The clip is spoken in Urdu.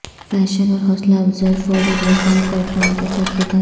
فیشن اور حوصلہ افزائی فوری بیکار پیٹرن کے ساتھ کتابیں